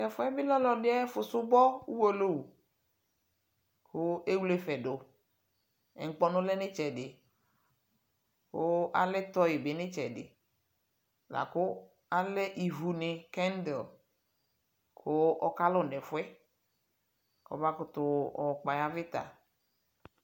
Tɛfuɛ be lɛ alɔde ayefo subɔ uwolowu ko ewle ɛfɛ doNkpɔnu lɛ no itsɛde ko alɛ tɔyi be no itsɛde, la ko alɛ ivu ne, kɛndil ko aka lu nɛfuɛ kɔ ba koto yɔkpɔ aya vita